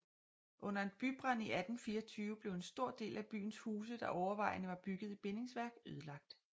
Under en bybrand i 1824 blev en stor del af byens huse der overvejende var bygget i bindingsværk ødelagt